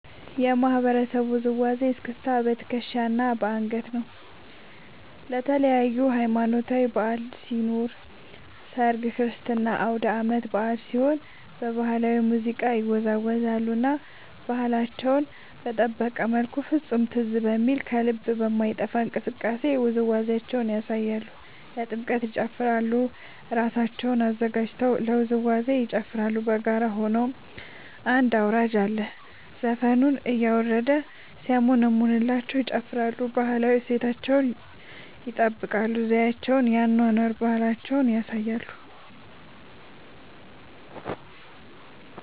የማህበረሰቡ ውዝዋዜ እስክስታ በትከሻ እና በአንገት ነው። ለተለያዪ ሀማኖታዊ በዐል ሲኖር ሰርግ ክርስትና አውዳመት በአል ሲሆን በባህላዊ ሙዚቃ ይወዛወዛሉ እና ባህላቸውን በጠበቀ መልኩ ፍፁም ትዝ በሚል ከልብ በማይጠፍ እንቅስቃሴ ውዝዋዜያቸውን ያሳያሉ። ለጥምቀት ይጨፉራሉ እራሳቸውን አዘጋጅተው ለውዝዋዜ ይጨፋራሉ በጋራ ሆነው አንድ አውራጅ አለ ዘፈኑን እያረደ ሲያሞነምንላቸው ይጨፍራሉ። ባህላዊ እሴታቸውን ይጠብቃል ዘዪቸውን የአኗኗር ባህላቸውን ያሳያሉ።